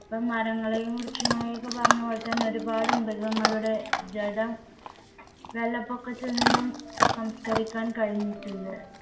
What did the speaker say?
ഇപ്പൊ മരങ്ങളെയും വൃക്ഷങ്ങളെയൊക്കെ പറഞ്ഞപോലെ തന്നെ ഒരുപാട് മൃഗങ്ങളുടെ ജഡം വെള്ളപ്പൊക്കത്തിൽ നിന്നും സംസ്കരിക്കാൻ കഴിഞ്ഞിട്ടുണ്ട്